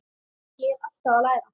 Ég er alltaf að læra.